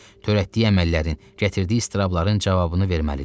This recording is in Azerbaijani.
Törətdiyi əməllərin, gətirdiyi istırabların cavabını verməlidir.